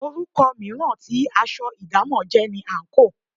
Orúkọ mìíràn tí aṣọ idamo jẹ́ ni àńkò.